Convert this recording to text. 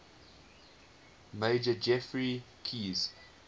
major geoffrey keyes